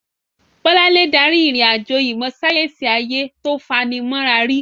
Bolanle darí ìrìn-àjò ìmọ̀ sáyẹ́sì ayé tó fani mọ́ra rí.